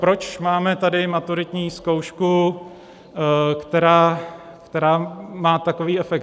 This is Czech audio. Proč máme tady maturitní zkoušku, která má takový efekt?